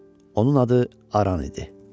Onun adı Aran idi.